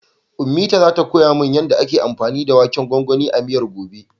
Ummita zata koya min yanda ake anfani da waken gwangwanin a miyar, gobe.